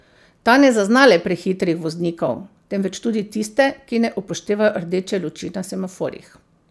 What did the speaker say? Ta ne zazna le prehitrih voznikov, temveč tudi tiste, ki ne upoštevajo rdeče luči na semaforjih.